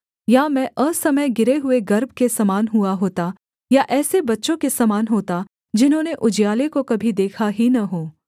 या मैं असमय गिरे हुए गर्भ के समान हुआ होता या ऐसे बच्चों के समान होता जिन्होंने उजियाले को कभी देखा ही न हो